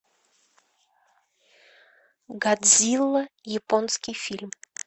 годзилла японский фильм